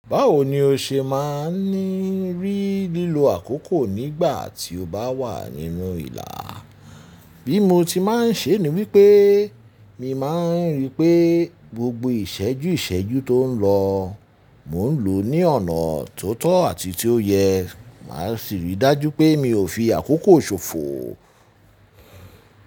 Báwo ni o ṣe máa ní rí lílo àkókò nígbà tí o bá wà nínú ìlà? Bí motin máa n ṣe ni wípé mi máa n rípé gbogbo ìṣẹ́jú ìṣẹ́jú ton lọ mo n lò ní ọ̀nà tó tọ́ àti tíó yẹ màsì rídájú pé mio fi àkókò ṣòfò.